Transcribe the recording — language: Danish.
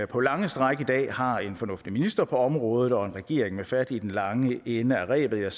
på lange stræk i dag har en fornuftig minister på området og en regering med fat i den lange ende af rebet